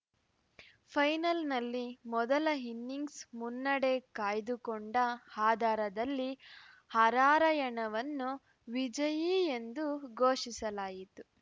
ಫೈನಲ್‌ನಲ್ಲಿ ಮೊದಲ ಇನ್ನಿಂಗ್ಸ್‌ ಮುನ್ನಡೆ ಕಾಯ್ದುಕೊಂಡ ಆಧಾರದಲ್ಲಿ ಹರಾರ‍ಯಣವನ್ನು ವಿಜಯಿ ಎಂದು ಘೋಷಿಸಲಾಯಿತು